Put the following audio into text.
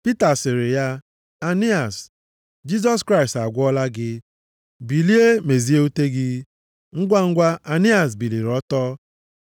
Pita sịrị ya, “Ainias, Jisọs Kraịst agwọọla gị. Bilie mezie ute gị.” Ngwangwa, Ainias biliri ọtọ.